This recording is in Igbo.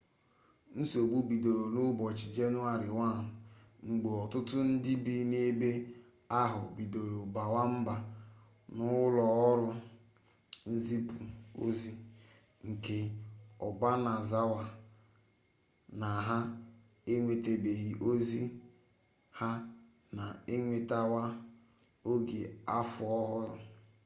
nsogbu bidoro n'ụbọchị jenụwarị 1 mgbe ọtụtụ ndị bi n'ebe ahụ bidoro bawa mba n'ụlọọrụ nzipụ ozi nke obanazawa na ha enwetabeghi ozi ha na-enwetawa oge afọ ọhụrụ